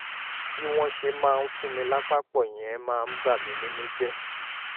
bí wọ́n ṣe máa ń fún mí lápá pọ̀ yẹn máa ń bà mí nínú jẹ́